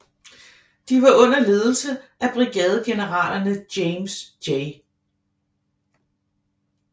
De var under ledelse af brigadegeneralerne James J